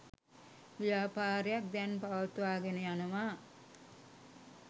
ව්‍යාපාරයක් දැන් පවත්වාගෙන යනවා.